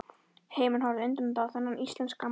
Heimurinn horfði undrandi á þennan íslenska mann.